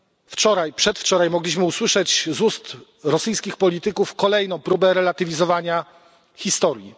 Wczoraj, przedwczoraj mogliśmy usłyszeć z ust rosyjskich polityków kolejną próbę relatywizowania historii.